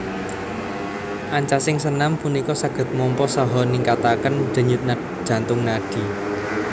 Ancasing senam punika saged mompa saha ningkataken denyut jantung nadi